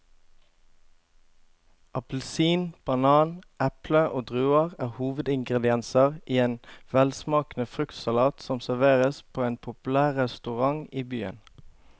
Appelsin, banan, eple og druer er hovedingredienser i en velsmakende fruktsalat som serveres på en populær restaurant i byen.